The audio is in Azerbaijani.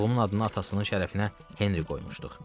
Oğlumun adını atasının şərəfinə Henri qoymuşduq.